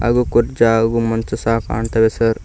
ಹಾಗು ಕುರ್ಚಿ ಹಾಗು ಮಂಚ ಸಾ ಕಾಣ್ತವೆ ಸರ್ .